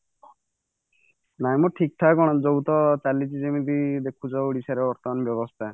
ନାଇଁ ମ ଠିକ ଠାକ କଣ ସବୁ ତ ଚାଲିଛି ଯେମିତି ଦେଖୁଛ ଓଡିଶାର ବର୍ତ୍ତମାନ ବ୍ୟବସ୍ତା